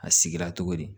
A sigira togo di